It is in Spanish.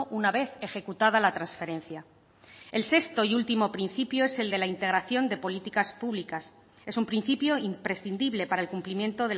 una vez ejecutada la transferencia el sexto y último principio es el de la integración de políticas públicas es un principio imprescindible para el cumplimiento